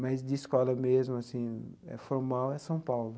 Mas de escola mesmo assim, formal, é São Paulo.